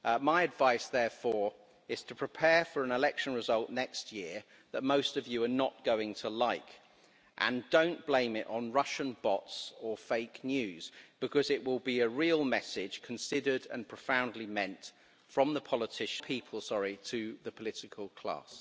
My advice, therefore, is to prepare for an election result next year that most of you are not going to like, and don't blame it on Russian bots or fake news because it will be a real message considered and profoundly meant from the people to the political class.